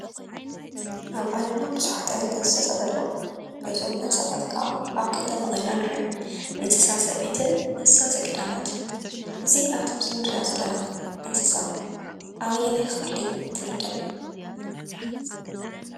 ኣብ ዓለምና ቡዙሓት ዓይነታት እንስሳታት አለው፡፡ እዞም እንስሳታት ከዓ አብ ክልተ መቂልና ንሪኦም፡፡ እንስሳ ዘቤትን እንሰሳ ዘገዳማትን፡፡ እዚ ኣብ እቲ ምሰሊ እንሪአ ዘለና እንሰሳ ኣበየናይ ክፍሊ ትምደብ?